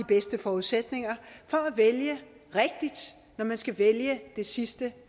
bedste forudsætninger for at vælge rigtigt når man skal vælge det sidste